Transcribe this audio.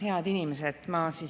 Head inimesed!